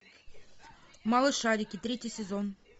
малышарики третий сезон